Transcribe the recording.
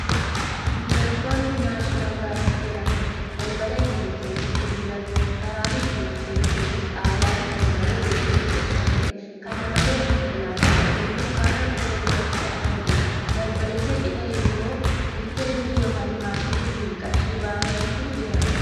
"Entoto National park" jedhamuun beekama. Balbalaa itti olseenantu mul'ata. Karaan ittin ol seenan kunis haalan kan bareedef miidhegfaamedha. Kana malees konkolaatan ol seenuf karraa fuula duratti argamtii, balbalicha cinaa ammo, "ATM" ykn maashina ittin qarshii baafatantu jira.